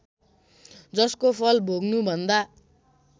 जसको फल भोग्नुभन्दा